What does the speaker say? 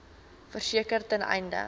verseker ten einde